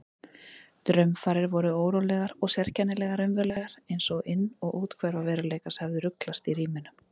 Draumfarir voru órólegar og sérkennilega raunverulegar einsog inn- og úthverfa veruleikans hefðu ruglast í ríminu.